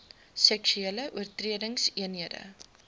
seksuele oortredingseenhede gks